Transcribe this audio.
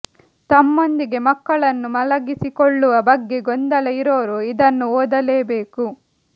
ತಮ್ಮೊಂದಿಗೆ ಮಕ್ಕಳನ್ನು ಮಲಗಿಸಿಕೊಳ್ಳುವ ಬಗ್ಗೆ ಗೊಂದಲ ಇರೋರು ಇದನ್ನು ಓದಲೇ ಬೇಕು